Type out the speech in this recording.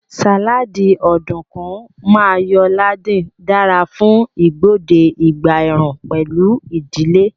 Sáláádì Ọ̀dùnkún Mayo-laden dara fún igbode ìgbà ẹ̀ẹ̀rùn pẹ̀lú ìdílé